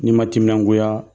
N'i ma timinangoya